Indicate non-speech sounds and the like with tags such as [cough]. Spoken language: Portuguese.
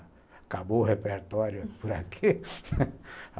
Acabou o repertório por aqui [laughs]